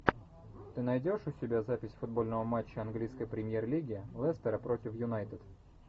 ты найдешь у себя запись футбольного матча английской премьер лиги лестера против юнайтед